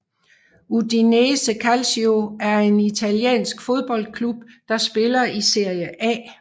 Udinese Calcio er en italiensk fodboldklub der spiller i Serie A